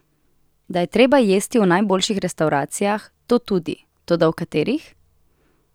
Da je treba jesti v najboljših restavracijah, to tudi, toda v katerih?